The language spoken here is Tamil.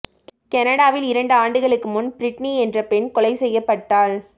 கனடாவில் இரண்டு ஆண்டுகளுக்கு முன் பிரிட்னி என்ற பெண் கொலை செய்யப்பட்டாள்